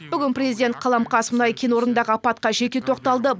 бүгін президент қаламқас мұнай кен орнындағы апатқа жеке тоқталды